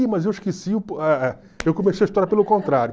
Ih, mas eu esqueci, eu comecei a história pelo contrário.